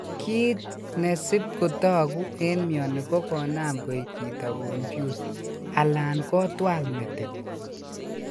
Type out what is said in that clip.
Kit ne sip kotagu en mioni ko konam koig chito confused alan kotwal metit.